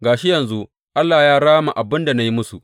Ga shi yanzu Allah ya rama abin da na yi musu.